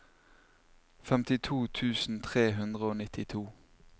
femtito tusen tre hundre og nittito